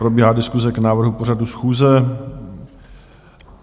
Probíhá diskuse k návrhu pořadu schůze.